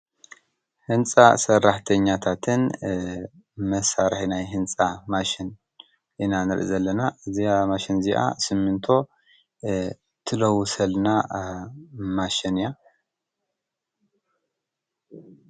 ህንፃ ሰራሕተኛታትን መሳርሒ ናይ ህንፃ ማሽን ኢና ንሪኢ ዘለና። እዛ ማሽን እዚኣ ስሚንቶ ትለውሰልና ማሽን እያ።